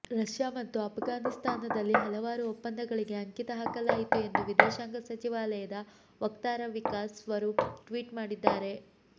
Russia ಮತ್ತು ಅಫ್ಘಾನಿಸ್ತಾನದಲ್ಲಿ ಹಲವಾರು ಒಪ್ಪಂದಗಳಿಗೆ ಅಂಕಿತ ಹಾಕಲಾಯಿತು ಎಂದು ವಿದೇಶಾಂಗ ಸಚಿವಾಲಯದ ವಕ್ತಾರ ವಿಕಾಸ್ ಸ್ವರೂಪ್ ಟ್ವೀಟ್ ಮಾಡಿದ್ದಾರೆ